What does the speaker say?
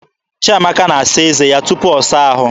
Chiamaka na-asa eze ya tupu ọ saa ahụ.